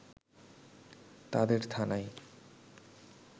তাদের থানায়